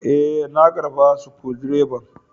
Eh, na karba Sukudireban.